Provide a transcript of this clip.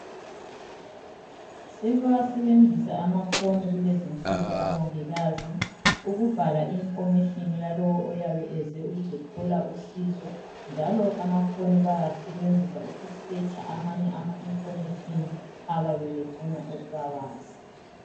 Sebewasebenzisa amafoni kulezinsuku omongikazi ukubhala imniningwane yalowo oyabe eze ukuzothola usizo njalo amafoni bayawasebenzisa ukudinga eyinye imniningwane abayabe befuna ukubayazi.